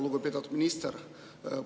Lugupeetud minister!